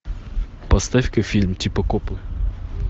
поставь ка фильм типа копы